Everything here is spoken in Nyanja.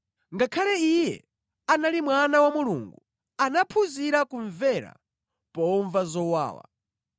Ngakhale Iye anali Mwana wa Mulungu anaphunzira kumvera pomva zowawa.